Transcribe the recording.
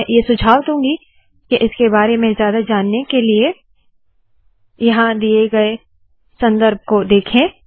मैं ये सुझाव दूंगी के इसके बारे में ज्यादा जानने के लिए यहाँ दिए गए सन्दर्भ को देखे